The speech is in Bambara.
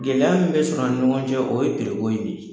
Gɛlɛya min bɛ sɔrɔ ani ɲɔgɔn cɛ o ye piri ko in de ye .